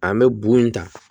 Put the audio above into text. An bɛ bu in ta